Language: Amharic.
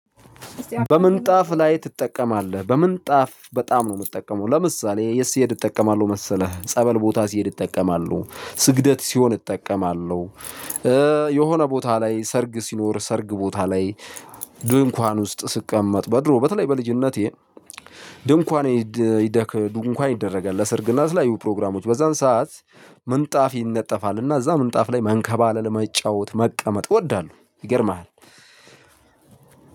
በምንጣፍ ላይ ትጠቀማለህ? በምንጣፍ በጣም ነው የምጠቀመው ለምሳሌ የት ስሄድ እጠቀማለሁ መሰለህ ጸበል ቦታ ስሄድ እጠቀማለሁ ስግደት ሲሆን እጠቀማለሁ። የሆነ ቦታ ላይ ሰርግ ሲኖር ሰርግ ቦታ ላይ። ድንኳን ውስጥ ስቀመጥ በድሮ በተለይ በልጅነቴ። ድንኳን ይደረጋል ለስርግና ለተለያዩ ፕሮግራሞች በዛን ሰዓት ምንጣፍ ይነጠፋል። እና እዛ ምንጣፍ ላይ መንከባለል መጫወት መቀመጥ እወዳለሁ። ይገርምሃል